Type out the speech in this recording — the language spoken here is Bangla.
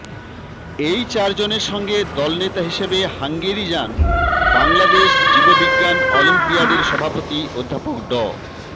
এই চারজনের সঙ্গে দলনেতা হিসেবে হাঙ্গেরি যান বাংলাদেশ জীববিজ্ঞান অলিম্পিয়াডের সভাপতি অধ্যাপক ড